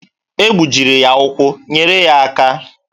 E gbujiri ya ụkwụ, nyere ya aka!